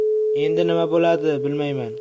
Endi nima bo‘ladi, bilmayman.